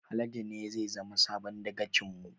Haladu ne zai zama sabon dagacin mu